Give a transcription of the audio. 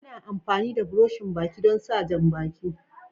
Ana amfani da buroshin Baki don sa jam-baki.